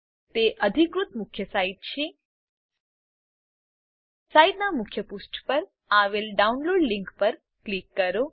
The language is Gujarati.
તે અધિકૃત મુખ્ય સાઈટ છે સાઈટનાં મુખ્ય પુષ્ઠ પર આવેલ ડાઉનલોડ લીંક પર ક્લિક કરો